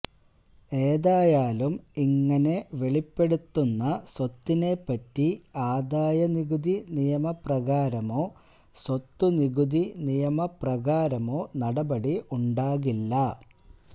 ഏതായാലും ഇങ്ങനെ വെളിപ്പെടുത്തുന്ന സ്വത്തിനെപ്പറ്റി ആദായനികുതി നിയമപ്രകാരമോ സ്വത്തുനികുതി നിയമപ്രകാരമോ നടപടി ഉണ്ടാകില്ല